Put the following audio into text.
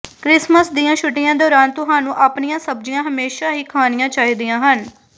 Christmas ਦੀਆਂ ਛੁੱਟੀਆਂ ਦੌਰਾਨ ਤੁਹਾਨੂੰ ਆਪਣੀਆਂ ਸਬਜ਼ੀਆਂ ਹਮੇਸ਼ਾਂ ਹੀ ਖਾਣੀਆਂ ਚਾਹੀਦੀਆਂ ਹਨ